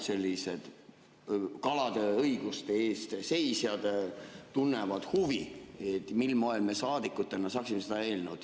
Noored kalade õiguste eest seisjad tunnevad huvi, mil moel me saadikutena saaksime seda eelnõu ...